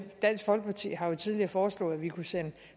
dansk folkeparti har jo tidligere foreslået at vi kunne sende